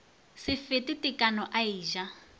se fete tekano a eja